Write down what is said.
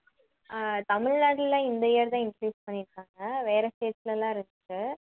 அஹ் தமிழ்நாட்டுல இந்த year தான் introduce பண்ணியிருக்காங்க வேற state ல எல்லாம் இருக்கு